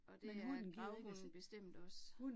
Og det er gravhunden bestemt også